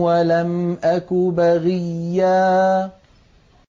وَلَمْ أَكُ بَغِيًّا